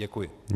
Děkuji.